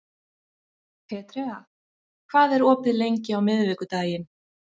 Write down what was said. Petrea, hvað er opið lengi á miðvikudaginn?